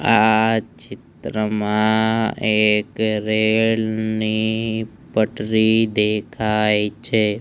આ ચિત્રમાં એક રેલ ની પટરી દેખાય છે.